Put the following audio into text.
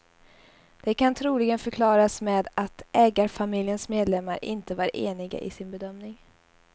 Det kan troligen förklaras med att ägarfamiljens medlemmar inte var eniga i sin bedömning.